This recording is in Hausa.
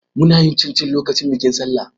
Muna yin cincin lokacin bikin Sallah.